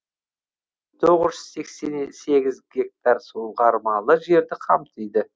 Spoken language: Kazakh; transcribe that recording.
тоғыз жүз сексен сегіз гектар суғармалы жерді қамтиды